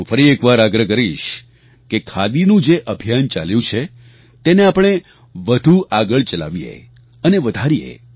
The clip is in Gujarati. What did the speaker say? હું ફરી એકવાર આગ્રહ કરીશ કે ખાદીનું જે અભિયાન ચાલ્યું છે તેને આપણે વધુ આગળ ચલાવીએ અને વધારીએ